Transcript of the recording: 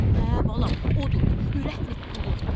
Hə, balam, odur, ürətnik qulu.